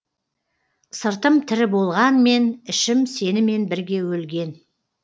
сыртым тірі болғанмен ішім сенімен бірге өлген